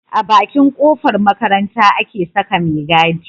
A Bakin kofar makaranta ake Saka me gadi